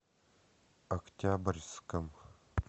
октябрьском